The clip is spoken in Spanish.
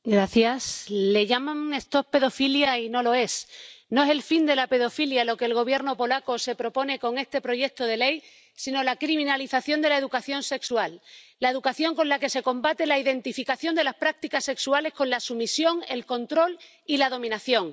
Señor presidente, le llaman a esto pedofilia y no lo es. No es el fin de la pedofilia lo que el Gobierno polaco se propone con este proyecto de ley, sino la criminalización de la educación sexual, la educación con la que se combate la identificación de las prácticas sexuales con la sumisión, el control y la dominación.